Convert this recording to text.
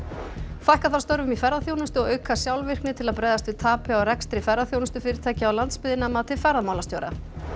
fækka þarf störfum í ferðaþjónustu og auka sjálfvirkni til að bregðast við tapi á rekstri ferðaþjónustufyrirtækja á landsbyggðinni að mati ferðamálastjóra